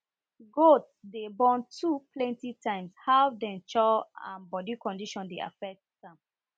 goats dey born two plenty times how dem chow and body condition dey affect am